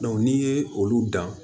n'i ye olu dan